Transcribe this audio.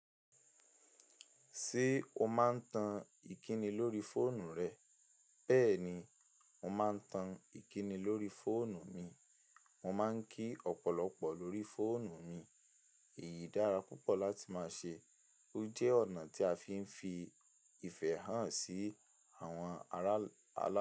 Ṣé o máa ń tan ìkíni lórí fóònù rẹ? Bẹ́ẹ̀ ni, mo máa ń tan ìkíni lórí fóònù mi. Mo máa ń kí ọ̀pọ̀lọpọ̀ lórí fóònù mi. Èyí dára púpọ̀ láti máa ṣe. Ó jẹ́ ọ̀nà tí a fi ń fi ìfẹ́ hàn sí àwọn ará alálè.